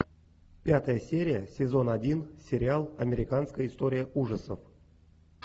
пятая серия сезон один сериал американская история ужасов